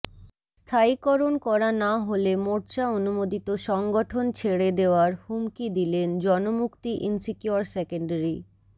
স্থায়ীকরণ করা না হলে মোর্চা অনুমোদিত সংগঠন ছেড়ে দেওয়ার হুমকি দিলেন জনমুক্তি ইনসিকিওর সেকেন্ডারি